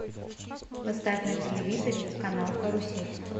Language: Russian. поставь на телевизоре канал карусель